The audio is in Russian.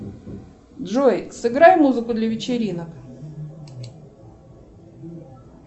джой сыграй музыку для вечеринок